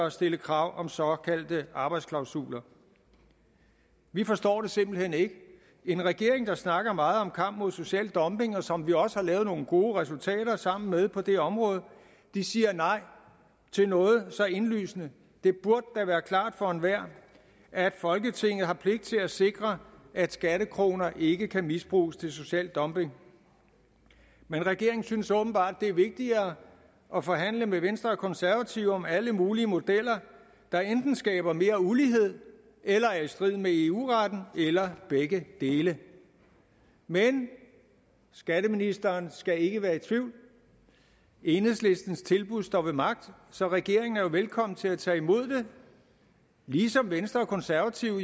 at stille krav om såkaldte arbejdsklausuler vi forstår det simpelt hen ikke en regering der snakker meget om kamp mod social dumping og som vi også har lavet nogle gode resultater sammen med på det område siger nej til noget så indlysende det burde da være klart for enhver at folketinget har pligt til at sikre at skattekroner ikke kan misbruges til social dumping men regeringen synes åbenbart det er vigtigere at forhandle med venstre og konservative om alle mulige modeller der enten skaber mere ulighed eller er i strid med eu retten eller begge dele men skatteministeren skal ikke være i tvivl enhedslistens tilbud står ved magt så regeringen er jo velkommen til at tage imod det ligesom venstre og konservative